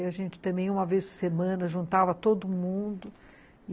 E a gente também, uma vez por semana, juntava todo mundo.